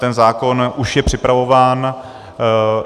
Ten zákon už je připravován.